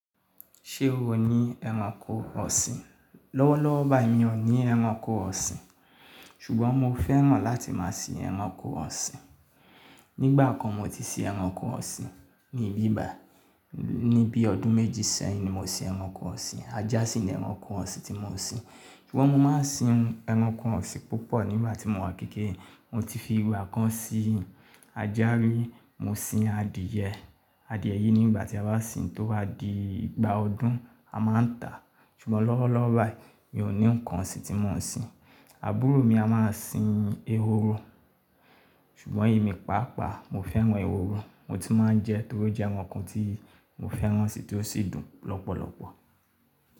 Ṣé o ní ẹranko ọ̀sìn? Lọ́wọ́lọ́wọ́ báyìí mi ò ní ẹranko ọ̀sìn, ṣùgbọ́n mo fẹ́ràn láti máa sin ẹranko ọ̀sìn. Nígbà kan mo ti sin ẹranko ọ̀sìn ní ibi báyìí, ní bí i ọdún méjì sẹ́yìn ni mo sin ẹranko ọ̀sìn. Ajá sì ni ẹranko ọ̀sìn tí mo sin. Ṣùgbọ́n mo máa sin ẹranko ọ̀sìn púpọ̀ nígbà tí mo wà ní kékeré Mo ti fi ìgbà kan sin ajá rí, mo sin adìẹ. Adìẹ yìí nígbà tí a bá sin tó wá di ìgbà ọdún a máa ń tà. Ṣùgbọ́n lọ́wọ́lọ́wọ́ báyìí mi ò ní nǹkan ọ̀sìn tí mo sin. Àbúrò mi a máa sin ehoro, ṣùgbọ́n èmi pàápàá mo fẹ́ràn ehoro. Mo ti máa ń jẹ ẹ́ torí ó jẹ́ ǹkan tí mo fẹ́ràn si tí ó sì dùn lọ́pọ̀lọpọ̀.